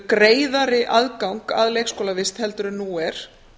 greiðari aðgang að leikskólavist heldur en nú er